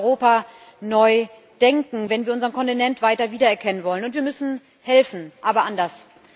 Wir müssen in Europa neu denken, wenn wir unseren Kontinent weiter wiedererkennen wollen, und wir müssen helfen, aber anders.